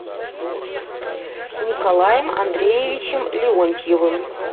николаем андреевичем леонтьевым